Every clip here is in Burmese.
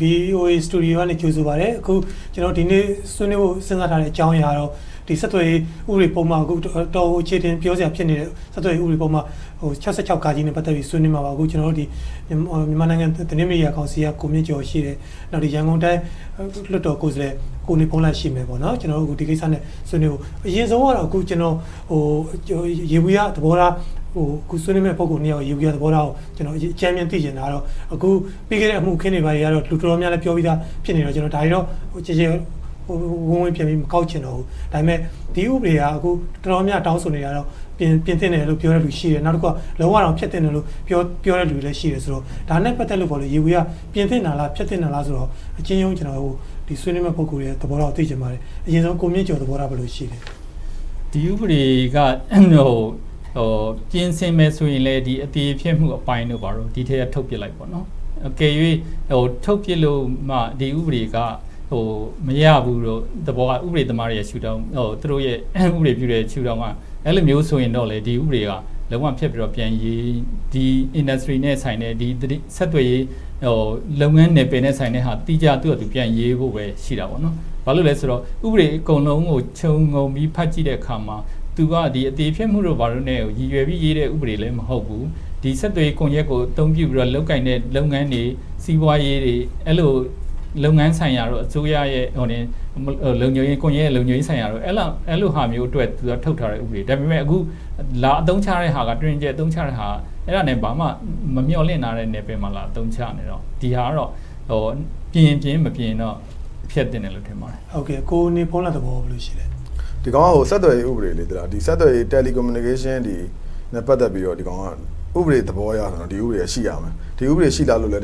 VOA Studio က ကြိုဆိုပါတယ်။ ဒီနေ့ ဆွေးနွေးဖို့ စဉ်းစားထားတဲ့ အကြောင်းအရာကတော့ အတော်ကို အခြေအတင်ပြောစရာဖြစ်နေတဲ့ ဆက်သွယ်ရေးဥပဒေပုဒ်မ နဲ့ ပတ်သက်ပြီး ဆွေးနွေးမှာပါ။ မြန်မာနိုင်ငံသတင်းမီဒီယာကောင်စီ က ကိုမြင့်ကျော် ရှိတယ်။ ရန်ကုန်တိုင်း လွှတ်တော်ကိုယ်စားလှယ် ကိုနေဘုန်းလတ် ရှိမယ်။ ကျနော်တို့ ဒီကိစ္စနဲ့ ပတ်သက်လို့ ဆွေးနွေးဖို့။ အရင်ဆုံး ယေဘုယျသဘောထား အခုဆွေးနွေးမယ် ပုဂ္ဂိုလ်နှစ်ဦးရဲ့ သဘောထားကို အကြမ်းမျဉ်း သိချင်တာကတော့ ပြီးခဲ့တဲ့ အမှုအခင်းတွေကတော့ လူတော်တော်များများ ပြောပြီသား ဖြစ်နေတော့ ဒါတွေကို ကျယ်ကျယ်ဝန်းဝန်း ပြန်မကောက်ချင်တော့ဘူး။ ဒါပေမဲ့ ဒီဥပဒေကို တော်တော်များများ တောင်းဆိုနေတာကတော့ ပြင်သင့်တယ်လို့ ပြောတဲ့လူရှိတယ်။ လုံးဝကို ဖျက်သင့်တယ်လို့ ပြောတဲ့လူတွေလည်း ရှိတယ်ဆိုတော့ ဒါနဲ့ ပတ်သက်လို့ ယေဘုယျ ပြင်သင့်တာလား၊ ဖျက်သင့်တာလား ဆိုတာကို အကျဉ်းရုံး ဆွေးမယ့် ပုဂ္ဂိုလ်တွေရဲ့ သဘောထားကို သိချင်ပါတယ်။ အရင်ဆုံး ကိုမြင့်ကျော် သဘောထား ဘယ်လို ရှိလဲ။ ဒီဥပဒေ က ပြင်ဆင်မယ်ဆိုလဲ အသရေဖျက်မှုအပိုင်းတို့ဘာတို့ ဒီထဲက ထုတ်ပြစ်လိုက်ပေါ့။ အကယ်၍ ထုတ်ပြစ်လိုက်လို့မှ ဒီဥပဒေက မရဘူး။ ဥပဒေသမားတွေရဲ့ ဥပဒေပြုတဲ့ ရှုထောင့်ကဆိုရင်တော့ ဒီဥပဒေက လုံးဝဖျက်ပြီးတော့ ပြန်ရေး၊ ဒီ Industry နဲ့ သက်ဆိုင်တယ်။ ဆက်သွယ်ရေး၊ လုပ်ငန်းနယ်ပယ်နဲ့ဆိုင်တဲ့ သီးခြားပြန်ရေးဖို့ပဲ ရှိတာပေါ့။ ဘာဖြစ်လို့လဲဆိုတော့ ဥပဒေ အကုန်လုံးကို ခြုံငုံပြီး ဖတ်ကြည့်တဲ့အခါမှာ သူက အသရေဖျက်မှုတွေ ဘာတွေနဲ့ ရည်ရွယ်ပြီးရေးတဲ့ ဥပဒေလည်း မဟုတ်ဘူး။ ဒီ ဆက်သွယ်ရေးကွန်ရက်ကို အသုံးပြုပြီးတော့ လုပ်ကိုင်တဲ့ လုပ်ငန်းတွေ၊ စီးပွားရေးတွေ အဲဒီလို လုပ်ငန်းဆိုင်ရာတို့၊ အစိုးရရဲ့ လုံခြုံရေး ကွန်ရက်ဆိုင်ရာတို့ အဲဒီလိုဟာမျိုးအတွက် ထုတ်ထားတဲ့ ဥပဒေ။ ဒါပေမဲ့ အသုံးချတဲ့ဟာက တွင်တွင်ကျယ်ကျယ် အသုံးချတာက အဲဒါနဲ့ ဘာမှ မမျှော်လင့်ထားတဲ့ နယ်ပယ်မှာ လာအသုံးချနေတော့ ဒီဟာက ပြင်ရင်ပြင်၊ မပြင်ရင်တော့ ဖျက်သင့်တယ်လို့ ထင်ပါတယ်။ ကိုနေဘုန်းလတ် သဘော ဘယ်လိုရှိလဲ။ ဒီဟာက ဆက်သွယ်ရေးဥပဒေ။ ဆက်သွယ်ရေး Telecommunication ပတ်သက်ပြီးတော့ ဒီကောင်က ဥပဒေ သဘောအရ ဒီဥပဒေ က ရှိရမယ်။ ဒီဥပဒေ ရှိထားလို့လဲ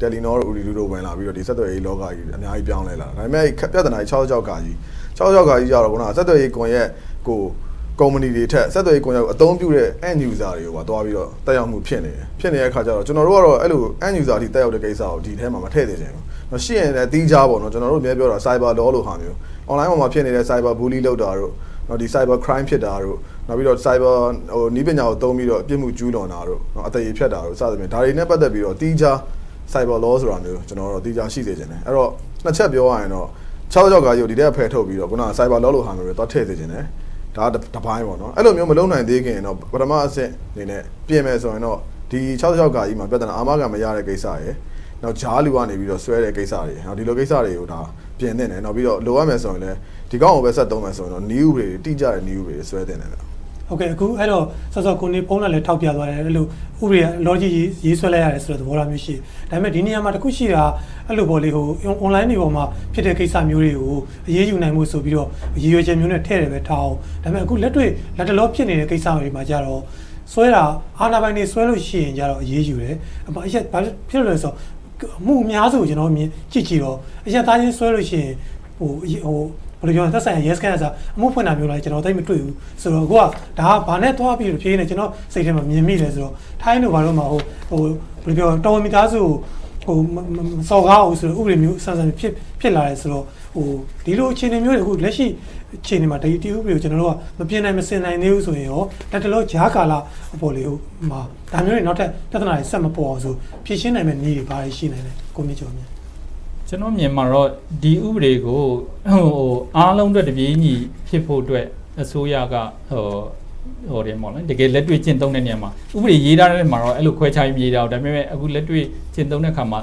Telenor, Ooradoo တို့ ဝင်လာပြီး ဆက်သွယ်ရေးလောကကို အများကြီး ပြောင်းလဲခဲ့တယ်။ ဒါပေမဲ့ ပြဿနာက ၆၆ ကတော့ ဆက်သွယ်ရေးကွန်ရက်ကို ကုမ္ပဏီတွေထက် ဆက်သွယ်ရေး ကွန်ရက်ကို အသုံးပြုတဲ့ End Users တွေကိုပါ သွားပြီးတော့ သက်ရောက်မှု ဖြစ်နေတယ်။ ကျနော်တို့ကတော့ အဲဒီလို End Users အထိ သက်ရောက်တဲ့ကိစ္စကို မထည့်စေချင်ဘူး။ ရှိရင်လဲ သီးခြား ကျနော်တို့ အမြဲပြောတာ Cyber Law လိုမျိုး Online ပေါ်မှာ ဖြစ်နေတဲ့ Cyber Bully လုပ်တာ၊ Cyber Crimes ဖြစ်တာတို့။ နောက်ပြီးတော့ Cyber နည်းပညာကို သုံးပြီးတော့ ပြစ်မှုကျူးလွန်တာတို့၊ အသရေဖျက်တာတို့။ ဒါတွေနဲ့ ပတ်သက်ပြီးတော့ CyberLaw တို့ သီးခြားရှိစေချင်တယ်။ အဲဒီတော့ နှစ်ချက်ပြောရရင်တော့ ၆၆ ကို ဒီထဲက ဖယ်ထုတ်ပြီးတော့ Cyber Law ထဲ သွားထည့်စေချင်တယ်။ ဒါကတပိုင်း။ အဲဒီလိုမျိုး မလုပ်နိုင်သေခင်တော့ ပထမအဆင့်အနေနဲ့ ပြင်မယ်ဆိုရင်တော့ ၆၆ မှာ အာမခံမရတဲ့ ကိစ္စရယ်၊ ကြားလူကနေ ဆွဲတဲ့ကိစ္စတွေရယ် ဒီလိုကိစ္စတွေကို ပြင်သင့်တယ်။ လိုအပ်မယ်ဆိုရင်လဲ ဒီကောင်ကိုပဲ ဆက်သုံးမယ်ဆိုရင်တော့ တိကျတဲ့ နည်းဥပဒေတွေ ဆွဲသင့်တယ်။ ကိုနေဘုန်းလတ်လည်း ထောက်ပြသွားတယ်။ ဥပဒေက အလောတကြီး ရေးဆွဲလိုက်ရတဲ့သဘောမျိုး ရှိတယ်။ ဒါပေမဲ့ ဒီနေရာမှာ တခုရှိတာက Online တွေပေါ်မှာ ဖြစ်နေတဲ့ ကိစ္စမျိုးတွေကို အရေးယူနိုင်ဖို့ ဆိုပြီးတော့ ရည်ရွယ်ချက်မျိုးနဲ့ထားအုံး ဒါပေမဲ့ လက်တွေ့ အခုတလော ဖြစ်နေတဲ့ ကိစ္စတွေမှာတော့ အာဏာပိုင်တွေ ဆွဲတာကိုတော့ အရေးယူတယ်။ ဘာဖြစ်လို့လဲဆိုတော့ အမှုအများစုကို မြင်ကြည့်တော့ အရပ်သားချင်း ဆွဲတာကိုတော့ သက်ဆိုင်ရာရဲစခန်းက အမှုဖွင့်တာတောင် ကျနော်တို့ မတွေ့ဘူး။ ဒါက ကျနော် စိတ်ထဲသွားမြင်မိလဲဆိုတော့ ထိုင်းတို့ဘာတို့မှာ တော်ဝင်မိသားစုကို မစော်ကားရဘူးဆိုတဲ့ ဥပဒေမျိုး ဖြစ်လာတယ်ဆိုတော့ ဒီလို အခြေအနေမျိုး လက်ရှိအချိန်မှာ ဒီဥပဒေကို မပြင်နိုင်၊ မဆင်နိုင်သေးဘူးဆိုရင်ကော လတ်တလော ကြားကာလမှာ ဒါမျိုးတွေ နောက်ထပ် ပြဿနာတွေ ဆက်မပေါ်နိုင်အောင် ဖြေရှင်းနိုင်တဲ့နည်းတွေ ဘာတွေ ရှိမလဲ။ ကျနော့်အမြင်မှာတော့ ဒီဥပဒေကို အားလုံးနဲ့ တပြေညီဖြစ်ဖို့အတွက် အစိုးရက တကယ်လက်တွေ့ကျင့်သုံးတဲ့ နေရာမှာ ဥပဒေ ရေးထားတဲ့နေရာမှာ ခွဲခြားပြီး မရေးထားဘူး။ လက်တွေ့ ကျင့်သုံးတဲ့အခါမှာ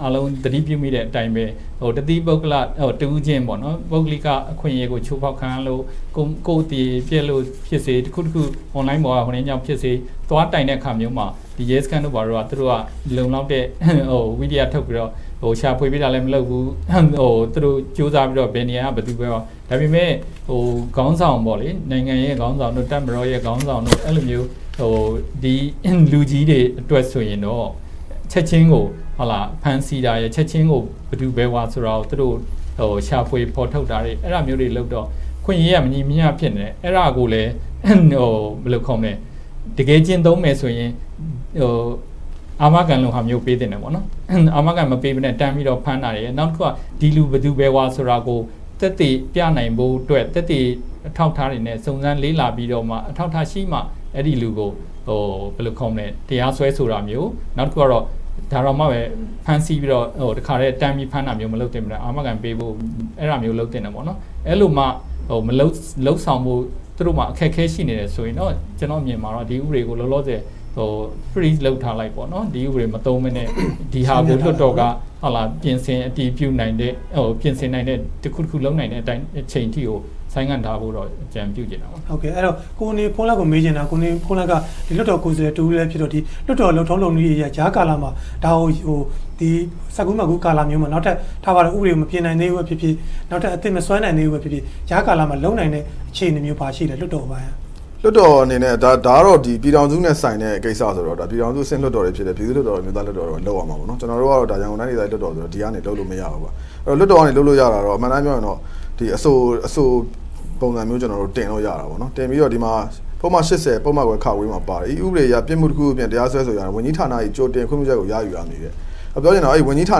အားလုံး သတိပြုမိတဲ့အတိုင်းပဲ တသီးပုဂ္ဂလိက တဦးချင်း ပုဂ္ဂလိ အခွင့်အရေးကို ချိုးဖောက်ခံရလို့ ကိုယ့်သရေပျက်လို့ဖြစ်စေ၊ Online ပေါ်က ဖြစ်စေ သွားတိုင်းတဲ့အခါ ရဲစခန်းတို့ ဘာတို့က လုံလောက်တဲ့ ဝိရီယထုတ်ပြီးတော့ ရှာဖွေမျိုး မလုပ်ဘူး။ ကြိုးစားပြီး ဘယ်နေရာက ဘယ်ဝါဆိုတာ မရှိဘူး။ ဒါပေမဲ့ နိုင်ငံရဲ့ ခေါင်းဆောင်၊ တပ်မတော်ခေါင်းဆောင်မျိုး လူကြီးတွေအတွက်ဆိုရင်တော့ ချက်ချင်းကို ဖမ်းဆီးတာ၊ ချက်ချင်းကို ဘယ်သူဘယ်ဝါဆိုတာကို ရှာဖွေဖော်ထုတ်တာတွေ လုပ်တော့ အခွင့်အရေးက မညီမမျှ ဖြစ်နေတယ်။ အဲဒါကိုလဲ တကယ် ကျင့်သုံးမယ်ဆိုရင် အာမခံမျိုး ပေးသင့်တယ်။ အာမခံ မပေးဘဲနဲ့ တန်းပြီးဖမ်းတာရယ်။ နောက်တခုက ဒီလူ ဘယ်သူဘယ်ဝါဆိုတာကို သက်သေပြနိုင်ဖို့အတွက် သက်သေအထောက်အထားတွေနဲ့ စုံစမ်းပြီးမှ အထောက်အထားရှိမှ အဲဒီလူကို တရားစွဲဆိုတာမျိုး၊ နောက်တခုက ဒါတောင်မှ ဖမ်းဆီးပြီးတော့ တန်းပြီး ဖမ်းတာမျိုး မလုပ်ဘဲ အာမခံပေးဖို့ လုပ်သင့်တယ်။ အဲဒီလိုမှ လုပ်ဆောင်ဖို့ သူတို့မှာ အခက်အခဲ ရှိနေတယ်ဆိုရင်တော့ ကျနော့်အမြင်မှာ ဒီဥပဒေကို Freeze လုပ်ထားလိုက်။ ဒီဥပဒေကို မသုံးဘဲနဲ့ ဒီဟာကို လွှတ်တော်က ပြင်ဆင်အတည်ပြုနိုင်တဲ့ တခုခု လုပ်နိုင်တဲ့အချိန်အထိကို ဆိုင်းငံ့ထားဖို့ အကြံပြုခြင်းတယ်။ ကိုနေဘုန်းလတ် ကို မေးချင်တာက လွှတ်တော်ကိုယ်စားလှယ် တဦးလည်းဖြစ်တော့ လွှတ်တော် လုပ်ထုံလုပ်နည်းတွေအရ ကြားကာလမှာ ဆက်ကူးမတ်ကူးကာလမျိုးမှာ ဥပဒေကို မပြင်နိုင်သေးဘူး။ နောက်ထပ်အသစ် မဆွဲနိုင်သေးဘူးဖြစ်ဖြစ် ကြားကာလမှာ လုပ်နိုင်တဲ့ အခြေအနေမျိုး ဘာရှိလဲ။ လွှတ်တော်အပိုင်းက။ လွှတ်တော်အနေနဲ့ ဒါကတော့ ပြည်ထောင်စုနဲ့ ဆိုင်တဲ့ကိစ္စဖြစ်တော့ ပြည်ထောင်စုအဆင့်ဖြစ်တဲ့ ပြည်သူ့လွှတ်တော်နဲ့ အမျိုးသားလွှတ်တော်တို့က လုပ်ရမှာပေါ့။ ကျနော်တို့ကတော့ ရန်ကုန်တိုင်းဒေသကြီး လွှတ်တော်ဆိုတော့ ဒီကနေ လုပ်လို့မရဘူး။ လွှတ်တော်က လုပ်လို့ရတာတော့ အမှန်အတိုင်း ပြောရရင် အဆိုပုံစံမျိုး ကျနော်တို့ တင်လို့ရတာပေါ့။ ပုဒ်မ ၈၀ မှာပါသည့် ဤဥပဒေအရ ပြစ်မှုတခုခုဖြင့် တရားစွဲဆိုရာတွင် ဝန်ကြီးဌာနတခုခု၏ ကြိုတင်ခွင့်ပြုချက်ကို ရယူရမည်။ ပြောချင်တာက ဝန်ကြီးဌာ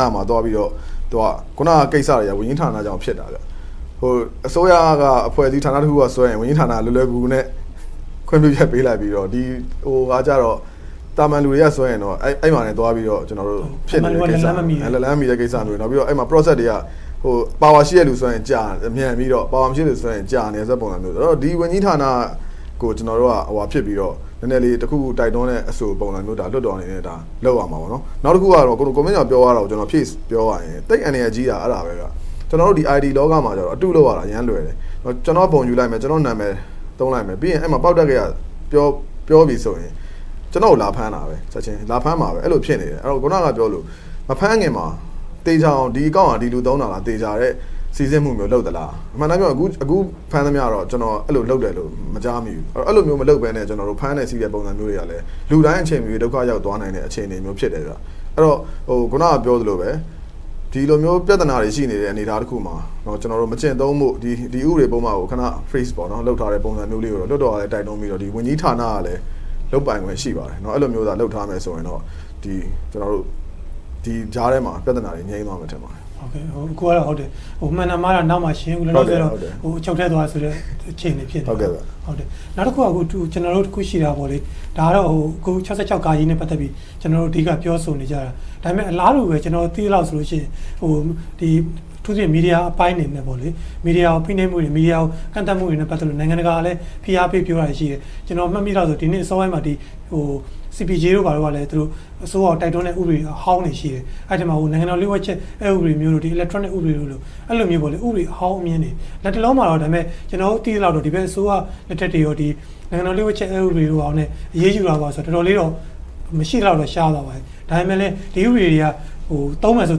နမှာ သွားပြီးတော့ အခုနကိစ္စတွေက ဝန်ကြီးဌာနကြောင့်ဖြစ်တာ အစိုးရက အဖွဲ့အစည်းဌာနတခုက ဆွဲရင် ဝန်ကြီးဌာနက လွယ်လွယ်ကူကူနဲ့ ခွင့်ပြုချက် ပေးလိုက်ပြီးတော့ သာမန်လူတွေက ဆွဲရင်တော့ အဲဒီမှာ သွားပြီးတော့ ဖြစ်နေတဲ့ကိစ္စ။ လက်လှမ်းမီတဲ့ကိစ္စမျိုးတွေ။ အဲဒီမှာ Power ရှိတဲ့လူဆွဲရင် မြန်ပြီးတော့၊ Power မရှိတဲ့လူဆွဲရင် ကြာနေတဲ့ပုံစံမျိုး။ ဒီ ဝန်ကြီးဌာနကို ကျနော်တို့က နည်းနည်းလေး တခုခုတိုက်တွန်းတဲ့ အဆိုကို လွှတ်တော်က လုပ်ရမှာပေါ့။ နောက်တခုကတော့ ကိုမြင့်ကျော် ပြောသွားတာကို ဖြည့်ပြောရရင်တော့ သိပ်အန္တရာယ်ကြီးတာ အဲဒါပဲ။ ကျနော်တို့ IT လောကမှာ အတု လုပ်ရတာ သိပ်လွယ်တယ်။ ကျနော့် ပုံယူလိုက်မယ်။ ကျနော်နာမည် သုံးလိုက်မယ်။ ပြီးတော့ ပေါက်တတ်ကရ ပြောမယ်ဆိုရင် ကျနော်ကို ချက်ချင်း လာဖမ်းတာပဲ။ အဲဒီလို ဖြစ်နေတယ်။ အခုနပြောသလို မဖမ်းခင်မှာ သေချာအောင် ဒီအကောင့် ကို စီစစ်မှုမျိုး လုပ်သလား။ အမှန်အတိုင်း ပြောရရင် အခု ဖမ်းသမျှတော့ အဲဒီလို လုပ်တယ်လို့ မကြားမိဘူး။ အဲဒီလိုမျိုး မလုပ်ဘဲနဲ့ ဖမ်းတယ်ဆီးတယ် ပုံစံမျိုးတွေကလည်း လူတိုင်းအချိန်မရွေး ဒုက္ခရောက်သွားနိုင်တဲ့ အခြေအနေမျိုးဖြစ်တယ်။ အဲဒီတော့ အခုန ပြောသလိုမျိုးပဲ ဒီလိုမျိုး ပြဿနာတွေ ရှိနေတဲ့ အနေအထားတခုမှာ မကျင့်သုံးဖို့ ဒီဥပဒေပုဒ်မကို ခဏ Freeze လုပ်ထားတဲ့ ပုံစံမျိုးလေးကို လွှတ်တော်က တိုက်တွန်းပြီးတော့ ဝန်ကြီးဌာနတွေကလည်း လုပ်ပိုင်ခွင့် ရှိပါတယ်။ အဲဒီလို လုပ်ထားမယ်ဆိုရင်တော့ ဒီကြားထဲမှာ ပြဿနာတွေ ငြိမ်းသွားမယ် ထင်ပါတယ်။ အခုကတော့ ဟုတ်တယ်။ မှန်တာမှားတာ နောက်မှရှင်းအုံး။ လောလောဆယ် အချုပ်ထဲသွားဆိုတဲ့ အခြေအနေ ဖြစ်နေတယ်။ နောက်တခုက တခုရှိတာက ဒါကတော့ ၆၆ နဲ့ ပတ်သက်ပြီး ကျနော်တို့ အဓိက ပြောဆိုနေကြတာ။ ဒါပေမဲ့ အလားတူ သိရသလောက်ဆိုရင် အထူးသဖြင့် မီဒီယာအပိုင်းမှာ မီဒီယာကို ဖိနှိပ်မှုတွေ၊ မီဒီယာကို ကန့်သတ်မှုတွေနဲ့ ပတ်သက်ပြီး နိုင်ငံတကာကလည်း ဖိအားပေး ပြောတာတွေရှိတယ်။ ကျနော် မှတ်မိသလောက်ဆိုရင် ဒီနှစ် အစောပိုင်းမှာ CPJ တို့ကလည်း အစိုးရကို တိုက်တွန်းတဲ့ ဥပဒေအဟောင်းတွေ ရှိတယ်။ အဲဒီထဲမှာ နိုင်ငံတော်လျှို့ဝှက်ချက် ဥပဒေမျိုး၊ Electronic ဥပဒေမျိုး အဲဒီလို ဥပဒေအဟောင်းတွေ။ လတ်တလောမှာတော့ ကျနော်တို့ သိရသလောက်တော့ ဒီဘက်အစိုးရလက်ထက်အထိ နိုင်ငံတော်လျှို့ဝှက်ချက် ဥပဒေတို့ဘာတို့နဲ့ အရေးယူတာ တော်တော်လေးတော့ မရှိသလောက် ရှားသွားပါပြီ။ ဒါပေမဲ့လဲ ဒီဥပဒေတွေက သုံးမယ်ဆိုရ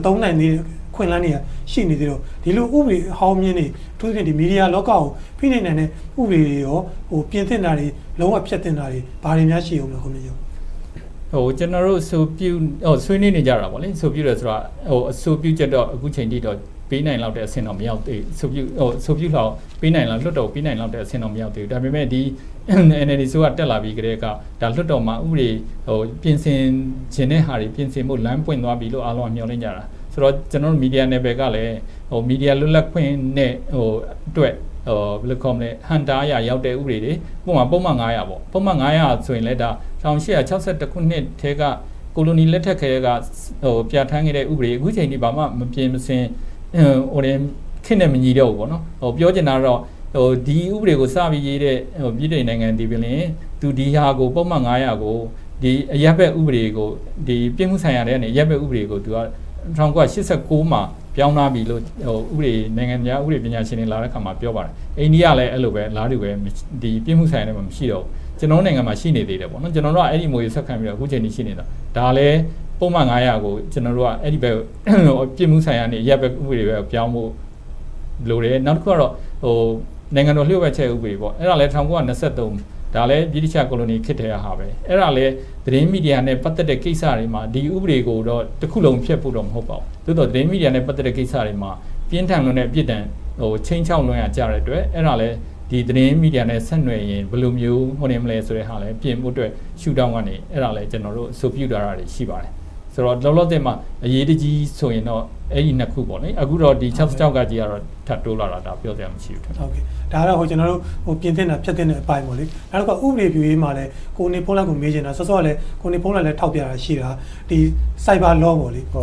င် သုံးနိုင်တဲ့ အခွင့်အလမ်းတွေက ရှိနေသေးတော့ ဒီလို ဥပဒေအဟောင်းတွေ အထူးသဖြင့် မီဒီယာလောကကို ဖိနှိပ်နိုင်တဲ့ ဥပဒေတွေ ပြင်သင့်တာတွေ၊ လုံးဝဖျက်သင့်တာတွေ ဘာတွေများ ရှိအုံးမလဲ။ ကျနော်တို့ ဆွေးနွေးနေကြတာ အဆိုပြုချက်တော့ အခုအချိန်အထိတော့ ပေးနိုင်လောက်တဲ့အဆင့် မရောက်သေးဘူး။ အဆိုပြုလွှာ လွှတ်တော်ကို ပေးနိုင်လောက်တဲ့အဆင့် မရောက်သေးဘူး။ ဒါပေမဲ့ NLD အစိုးရ တက်လာပြီးကတည်းက လွှတ်တော်မှာ ပြင်ဆင်ချင်တဲ့ဟာတွေ ပြင်ဆင်ဖို့ လမ်းပွင့်သွားပြီလို့ မျှော်လင့်ကြတာ။ ဆိုတော့ ကျနော်တို့ မီဒီယာနယ်ပယ်ကလဲ မီဒီယာ လွတ်လပ်ခွင့်အတွက် အဟန့်အတား ရောုက်တဲ့ ဥပဒေတွေ။ ဥပမာ ပုဒ်မ ဆိုလဲ ၁၈၆၁ ခုနှစ်ကတည်း ကိုလိုနီလက်ထက်ကတည်းက ပြဌာန်းခဲ့တဲ့ ဥပဒေ အခုအချိန်အထိ ဘာမှ မပြင်မဆင်၊ ခေတ်နဲ့မညီတော့ဘူးပေါ့။ ပြောချင်တာက ဒီဥပဒေကို စပြီးရေးတဲ့ ဗြိတိန်နိုင်ငံသည်ပင် ပုဒ်မ ကို အရပ်ဘက် ဥပဒေကို ပြစ်မှုဆိုင်ရာထဲက ရပ်မယ့်ဥပဒေကို ၁၉၈၉ မှာ ပြောင်းထားပြီလို့ နိုင်ငံများ ဥပဒေရှင်များလာတဲ့အခါမှာ ပြောပါတယ်။ အိန္ဒိယလည်း အလားတူပဲ။ ဒီပြစ်မှုဆိုင်ရာထဲမှာ မရှိတော့ဘူး။ ကျနော်တို့ နိုင်ငံထဲမှာ ရှိနေသေးတယ်။ ကျနော်တို့က အဲဒီအမွေ ဆက်ခံပြီးတော့ အခုအချိန်ထိ ရှိနေတာ။ ဒါလဲ ပုဒ်မ ကို ကျနော်တို့က ပြစ်မှုဆိုင်ရာကနေ အရပ်ဘက် ဥပဒေကို ပြောင်းဖို့လိုတယ်။ နောက်တခုက နိုင်ငံတော် လျှို့ဝှက်ချက် ဥပဒေ။ အဲဒါလဲ ၁၉၂၃ ဗြိတိသျှ ကိုလိုနီလက်ထက်ကတည်းက ဥပဒေ။ အဲဒါလဲ သတင်းမီဒီယာနဲ့ ပတ်သက်တဲ့ ကိစ္စတွေမှာ ဒီဥပဒေကိုတော့ တခုလုံးဖျက်ဖို့တော့ မဟုတ်ပါဘူး။ သို့သော် သတင်းမီဒီယာနဲ့ ပတ်သက်တဲ့ ကိစ္စတွေမှာ ပြင်းထန်လွန်တဲ့ ပြစ်ဒဏ် ခြိမ်းခြောက်လွန်ရာကြတဲ့အတွက် အဲဒါလဲ သတင်းမီဒီယာနဲ့ ဆက်နွယ်ရင် ဘယ်လိုမျိုး လုပ်မလဲဆိုတာလဲ ပြင်ဖို့အတွက် ဥပဒေရှုထောင့်ကနေ ကျနော်တို့ အဆိုပြုထားတာတွေ ရှိပါတယ်။ ဆိုတော့ လောလောဆယ်မှာ အရေးတကြီးဆိုရင်တော့ အဲဒီ နှစ်ခုပေါ့။ အခုတော့ ထပ်တိုးလာတာ ပြောစရာမရှိဘူး။ ဒါကတော့ ပြင်သင့်တာ၊ ဖျက်သင့်တဲ့ အပိုင်းပေါ့။ နောက်တခါ ဥပဒေပြုရေးမှာလဲ ကိုနေဘုန်းလတ်ကို မေးချင်တာက စောစောကလဲ ကိုနေဘုန်းလတ် ထောက်ပြတာလဲ ရှိတာ။ Cyber Law ဒီဥပဒေတွေ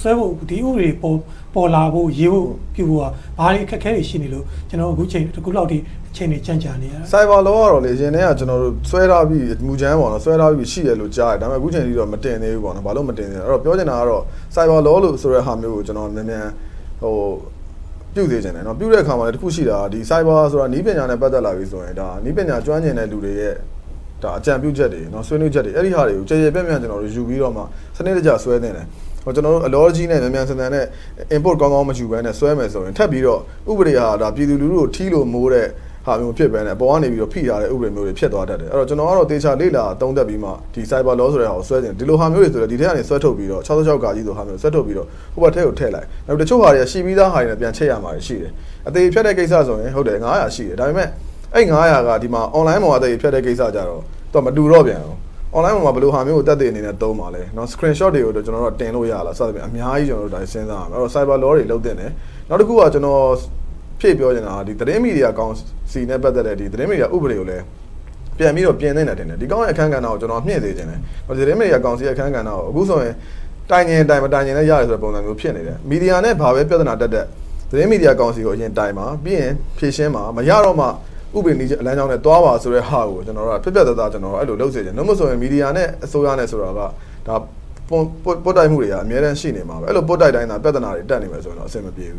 ဆွဲဖို့၊ ပေါ်လာဖို့၊ ရေးဖို့ပြုဖို့က ဘာတွေ အခက်အခဲတွေ ရှိနေလို့ အခုအချိန်အထိ အချိန်တွေကြန့်ကြာနေရတာလဲ။ Cyber Law ကတော့ အရင်ကတည်းက ဆွဲထားပြီးပြီ။ မူကြမ်းဆွဲထားပြီးပြီ ရှိတယ်လို့ ကြားတယ်။ အခုအချိန်အထိတော့ မတင်သေးဘူးပေါ့။ ပြောချင်တာကတော့ Cyber Law ကို မြန်မြန်ပြုစေချင်တယ်။ ပြုတဲ့အခါမှာလဲ တခုရှိတာက Cyber Law ဆိုတာ နည်းပညာနဲ့ ပတ်သက်လာပြီရင် နည်းပညာကျွမ်းကျင်တဲ့ အကြံပြုချက်တွေ၊ ဆွေးနွေးချက်တွေ အဲဒီဟာတွေကို ကျယ်ကျယ်ပြန့်ပြန့် ယူပြီးတော့ စနစ်တကျ ဆွဲသင့်တယ်။ ကျနော်တို့ အလောတကြီးနဲ့ မြန်မြန်ဆန်ဆန် Input ကောင်းကောင်းမယူဘဲနဲ့ ဆွဲမယ်ဆိုရင် ထပ်ပြီးတော့ ဥပဒေက ပြည်သူလူထုကို ထီးလို မိုးတဲ့ဟာမျိုး မဖြစ်ဘဲနဲ့ အပေါ်ကနေ ဖိထားတဲ့ ဥပဒေမျိုးတွေ ဖြစ်သွားတတ်တယ်။ ကျနော်ကတော့ သေသေချာချာ လေ့လာသုံးသပ်ပြီးမှ ဒီ Cyber Law ဆိုတာကို ဆွဲစေချင်တယ်။ ဒီလိုဟာမျိုးတွေဆိုရင် ဒီထဲက ဆွဲထုတ်ပြီးတော့ ၆၆ လိုဟာမျိုးကို ဆွဲထုတ်ပြီးတော့ ဟိုဘက်ထဲက ထည့်လိုက်။ တချို့ဟာတွေက ရှိပြီးသာဟာတွေနဲ့ ပြန်ချိတ်ရမှာရှိတယ်။ အသရေဖျက်မှုဆိုရင် ၅၀၀ ရှိတယ်။ ဒါပေမဲ့ အဲဒီ ၅၀၀ က Online ပေါ်က အသရေဖျက်တဲ့ဟာနဲ့ကြတော့ မတူတော့ပြန်ဘူး။ Online ပေါ်မှာ ဘယ်လိုဟာမျိုးကို သက်သေဟာနဲ့ သုံးမှာလဲ။ Screenshot တွေကို ကျနော်တို့က တင်လို့ရလား စသဖြင့် အများကြီး ကျနော်တို့ စဉ်းစားရမယ်။ Cyber Law တွေ လုပ်သင့်တယ်။ နောက်တခုက ကျနော် ဖြည့်ပြောချင်တာက သတင်းမီဒီယာကောင်စီနဲ့ ပတ်သက်တဲ့ သတင်းမီဒီယာ ဥပဒေကိုလည်း ပြန်ပြီးတော့ ပြင်သင့်တယ် ထင်တယ်။ ဒီကောင်ရဲ့ အခန်းကဏ္ဍကိုလည်း မြှင့်စေချင်တယ်။ သတင်းမီဒီယာကောင်စီ အခန်းကဏ္ဍကို အခုဆိုရင် တိုင်ချင်ရင်လဲတိုင်၊ မတိုင်ချင်ရင်လဲရတယ်ဆိုတဲ့ ပုံစံမျိုး ဖြစ်နေတယ်။ မီဒီယာနဲ့ ဘာပဲပြဿနာတက်တက် သတင်းမီဒီယာကောင်စီကို တိုင်ပါ။ ပြီးရင် ဖြေရှင်းပါ။ မရတော့မှ ဥပဒေလမ်းကြောင်းနဲ့ သွားပါဆိုတဲ့ဟာကို ပြတ်ပြတ်သားသား ကျနော်တို့က လုပ်စေချင်တယ်။ ဒါမှမဟုတ်ရင် မီဒီယာနဲ့ အစိုးရဆိုတာက ပွတ်တိုက်မှုတွေက အမြဲတမ်း ရှိနေမှာ။ အဲဒီလို ပွတ်တိုက်တိုင်းသာ ပြဿနာတွေ ရှိနေမယ်ဆိုရင်တော့ အဆင်မပြေဘူး